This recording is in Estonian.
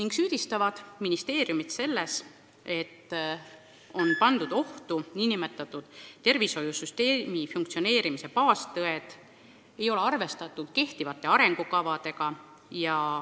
Nad süüdistavad ministeeriumit selles, et ohtu on sattunud tervishoiusüsteemi funktsioneerimise baaspõhimõtted, ka ei ole arvestatud kehtivate arengukavadega.